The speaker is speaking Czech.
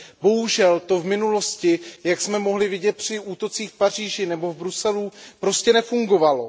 Bohužel to v minulosti, jak jsme mohli vidět při útocích v Paříži nebo v Bruselu, prostě nefungovalo.